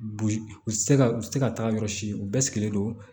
u tɛ se ka u tɛ ka taa yɔrɔ si u bɛɛ sigilen don